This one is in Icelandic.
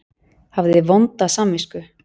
Hafði vonda samvisku.